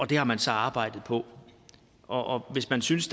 det har man så arbejdet på og hvis man synes